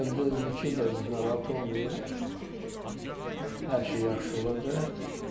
Gedəndə də dedi ki, bəs narahat olmayın, hər şey yaxşı olacaq.